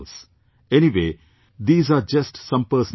Anyway, these are just some personal thoughts